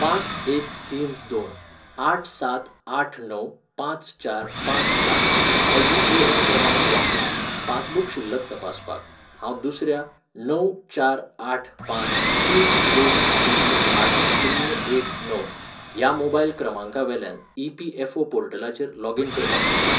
पांच एक तीन दोन आठ सात आठ णव पांच चार पांच सात हो युएएन क्रमांक वापरून, पासबुक शिल्लक तपासपाक, हांव दुसऱ्या णव चार आठ पांच तीन दोन शुन्य आठ शुन्य एक णव ह्या मोबायल क्रमांकावेल्यान ईपीएफओ पोर्टलाचेर लॉगिन करपाक शकतां ?